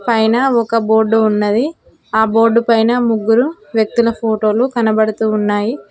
పైన ఒక బోర్డు ఉన్నది ఆ బోర్డు పైన ముగ్గురు వ్యక్తుల ఫోటోలు కనబడుతూ ఉన్నాయి.